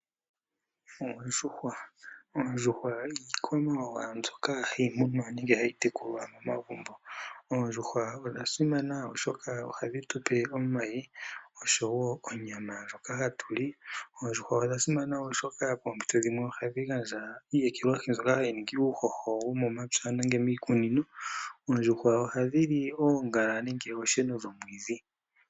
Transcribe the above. Oondjuhwa, oondjuhwa iikwamawawa mbyoka hayi munwa nenge hayi tekulwa momagumbo. Oondjuhwa odha simana oshoka ohadhi tupe omayi oshowo onyama ndjoka hatu li, oondjuhwa odha simana wo oshoka pompito dhimwe ohadhi gandja iiyekelwahi mbyoka hayi ningi uuhoho womo mampya nenge miikunino. Oondjuhwa ohadhi li oongala nenge osheno dhomwidhi.